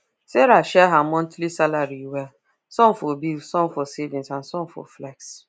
sarah share her monthly salary well some for bills some for savings and small for flex